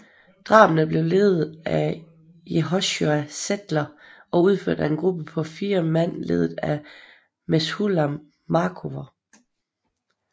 Drabene blev ledede af Yehoshua Zetler og udført af en gruppe på fire mand ledet af Meshulam Markover